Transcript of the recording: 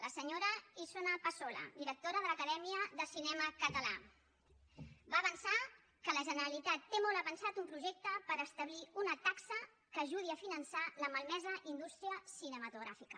la senyora isona passola directora de l’acadèmia de cinema català va avançar que la generalitat té molt avançat un projecte per establir una taxa que ajudi a finançar la malmesa indústria cinematogràfica